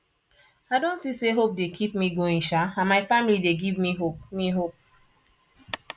i don see say hope dey keep me going sha and my family dey give me hope me hope